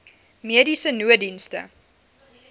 mediese nooddienste